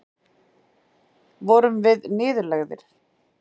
Vorum við niðurlægðir?